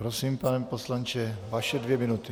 Prosím, pane poslanče, vaše dvě minuty.